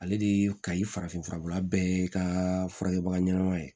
Ale de kayi farafin furabula bɛɛ ka furakɛbaga ɲɛnama ye